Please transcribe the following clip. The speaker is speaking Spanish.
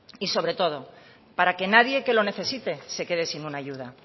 y sobre todo para que nadie que lo necesite se quede sin una ayuda